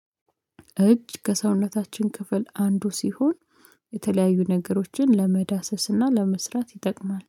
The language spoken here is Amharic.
እጅ ከሰውነታችን ክፍል አንዱ ሲሆን የተለያዩ ነገሮችን ለመዳሰስና ለመስራት ይጠቅማል